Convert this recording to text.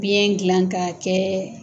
Biyɛn gilan k'a kɛ